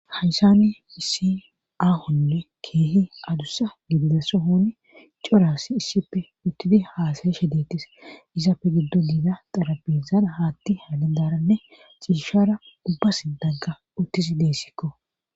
haysani issi aahonne keehi adussa gidida sohoni coras issippe uttidi haasayishe deettes izafe giddo diida xarabizana haatti haale daaranne ciishara ubbas dagga uttisi deessikko